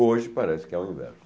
Hoje parece que é o inverso.